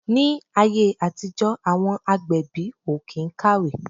Ni ayé àtijó àwọn agbẹ̀bí o kín kàwé